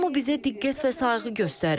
Hamı bizə diqqət və sayğı göstərir.